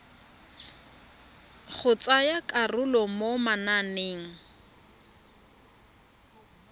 go tsaya karolo mo mananeng